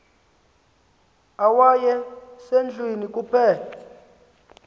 owaye sendlwini kuphela